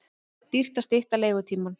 Dýrt að stytta leigutímann